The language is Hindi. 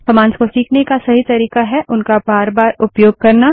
कमांड्स को सीखने का सही तरीका है उनका बार बार उपयोग करना